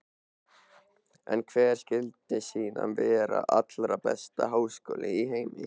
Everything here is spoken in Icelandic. En hver skyldi síðan vera allra besti háskóli í heimi?